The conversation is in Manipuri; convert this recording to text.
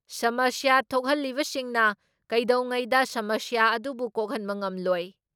ꯁꯃꯁ꯭ꯌꯥ ꯊꯣꯛꯍꯜꯂꯤꯕꯁꯤꯡꯅ ꯀꯩꯗꯧꯉꯩꯗ ꯁꯃꯁ꯭ꯌꯥ ꯑꯗꯨꯕꯨ ꯀꯣꯛꯍꯟꯕ ꯉꯝꯂꯣꯏ ꯫